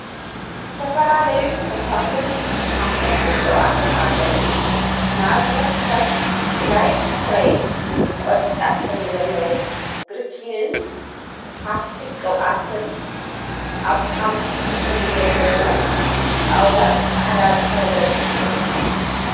ዝተፈላለዩ ፈሳሲን ሓፈስቲን ቅብአትን አለው፡፡ ንአብነት ከም ግላይሰረይን ዝብል ቆፃል ሕብሪ ዘለዎ ግሪስሊንን ሓፊሰ ቅብአትን አብ ሓመኩሽቲ ሕብሪ ዘለዎ ጣውላን ፃዕዳ ድሕረ ገፅን ይርከብ፡፡